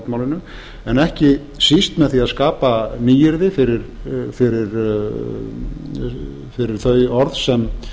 fornmálinu en ekki síst með því að skapa nýyrði fyrir þau orð sem